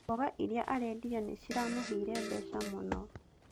Mboga iria arendirie nĩ ciramũheire mbeca mũno